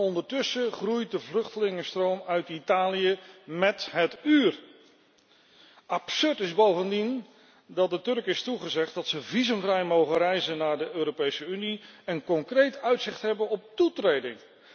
Ondertussen groeit de vluchtelingenstroom uit Italië met het uur! Absurd is bovendien dat de Turken is toegezegd dat ze visumvrij mogen reizen naar de Europese Unie en concreet uitzicht hebben op toetreding!